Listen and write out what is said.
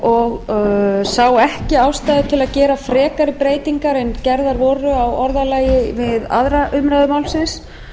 og sá ekki ástæðu til að gera frekari breytingar en gerðar voru á orðalagi við aðra umræðu málsins